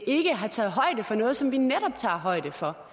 ikke har taget højde for noget som vi netop tager højde for